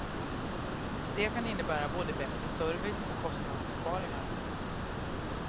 Det kan innebära både bättre service och kostnadsbesparingar.